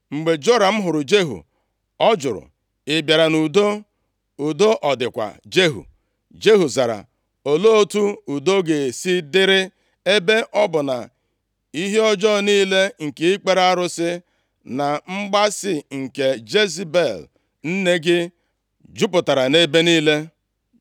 Mgbe Joram hụrụ Jehu, ọ jụrụ, “Ị bịara nʼudo? Udo ọ dịkwa, Jehu?” Jehu zara, “Olee otu udo ga-esi dịrị, ebe ọ bụ na ihe ọjọọ niile nke ikpere arụsị na mgbaasị nke Jezebel nne gị, jupụtara nʼebe niile.”